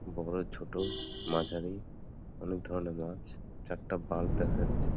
বড়ো ছোট মাঝারি অনেক ধরণের মাছ। চারটা বাল্ব দেখা যাচ্ছে।